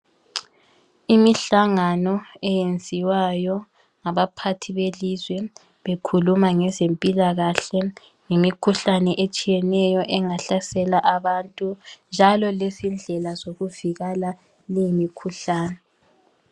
Imihlangano eyenziwayo ngabaphathi belizwe bekhuluma ngezempilakahle ngemikhuhlane etshiyeneyo engahlasela abantu njalo lezindlela zokuvikela leyi mikhuhlane.